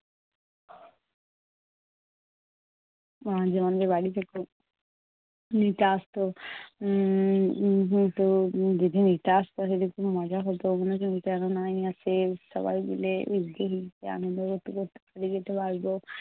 অনেকজনদের বাড়ি থেকে নিতে আসতো। উম নিতো। উম যেদিন নিতে আসতো সেদিন খুব মজা হতো। মনে হতো নিতে যেন নাই আসে। সবাই মিলে ভিজতে ভিজতে আনন্দ করতে করতে বাড়ি যেতে পারবো।